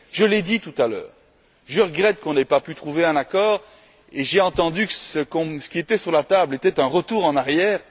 Je regrette qu'on n'ait pas pu trouver un accord et j'ai entendu que ce qui était sur la table était un retour en arrière.